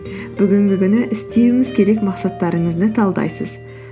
бүгінгі күні істеуіңіз керек мақсаттарыңызды талдайсыз